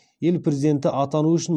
ел президенті атану үшін